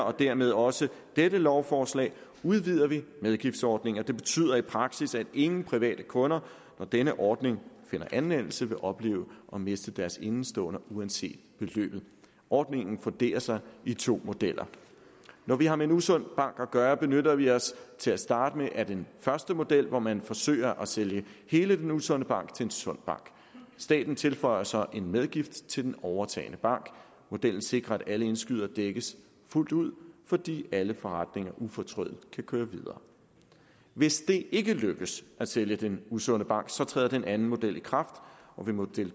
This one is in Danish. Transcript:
og dermed også dette lovforslag udvider vi medgiftsordningen og det betyder i praksis at ingen private kunder når denne ordning finder anvendelse vil opleve at miste deres indestående uanset beløbet ordningen funderer sig i to modeller når vi har med en usund bank at gøre benytter vi os til at starte med af den første model hvor man forsøger at sælge hele den usunde bank til en sund bank staten tilføjer så en medgift til den overtagende bank modellen sikrer at alle indskydere dækkes fuldt ud fordi alle forretninger ufortrødent kan køre videre hvis det ikke lykkes at sælge den usunde bank træder den anden model i kraft og ved model